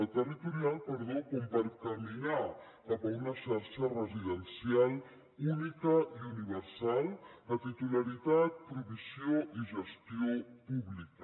territorial perdó per caminar cap a una xarxa residencial única i universal de titularitat provisió i gestió pública